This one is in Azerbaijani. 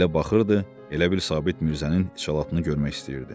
Elə baxırdı, elə bil Sabit Mirzənin içalatını görmək istəyirdi.